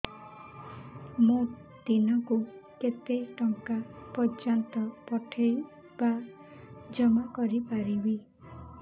ମୁ ଦିନକୁ କେତେ ଟଙ୍କା ପର୍ଯ୍ୟନ୍ତ ପଠେଇ ବା ଜମା କରି ପାରିବି